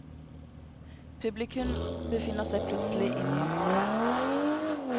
Publikum befinner seg plutselig inne i huset.